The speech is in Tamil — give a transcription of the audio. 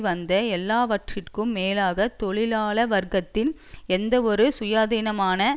வந்த எல்லாவற்றுக்கும் மேலாக தொழிலாள வர்க்கத்தின் எந்தவொரு சுயாதீனமான